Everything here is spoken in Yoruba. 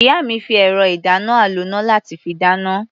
Ìyá mi fi ẹ̀rọ-ìdáná-aloná láti fi dáná.